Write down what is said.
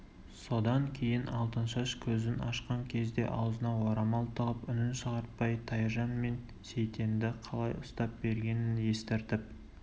содан кейін алтыншаш көзін ашқан кезде аузына орамал тығып үнін шығартпай тайжан мен сейтенді қалай ұстап бергенін естіртіп